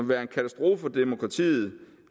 være en katastrofe for demokratiet